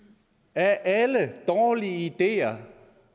af alle dårlige ideer